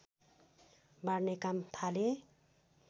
बाँड्ने काम थाले